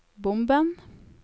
bomben